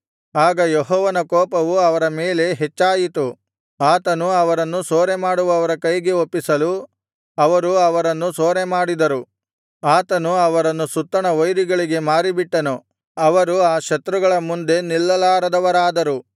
ಆಗ ಯೆಹೋವನ ಕೋಪವು ಅವರ ಮೇಲೆ ಹೆಚ್ಚಾಯಿತು ಆತನು ಅವರನ್ನು ಸೂರೆಮಾಡುವವರ ಕೈಗೆ ಒಪ್ಪಿಸಲು ಅವರು ಅವರನ್ನು ಸೂರೆಮಾಡಿದರು ಆತನು ಅವರನ್ನು ಸುತ್ತಣ ವೈರಿಗಳಿಗೆ ಮಾರಿಬಿಟ್ಟನು ಅವರು ಆ ಶತ್ರುಗಳ ಮುಂದೆ ನಿಲ್ಲಲಾರದವರಾದರು